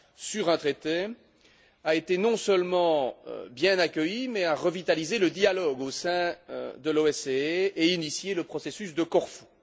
sur un traité a été non seulement bien accueilli, mais a revitalisé le dialogue au sein de l'OSCE et initié le processus de Corfou.